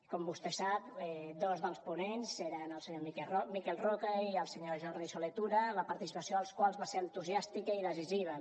com vostè sap dos dels ponents eren el senyor miquel roca i el senyor jordi solé i tura la participació dels quals va ser entusiàstica i decisiva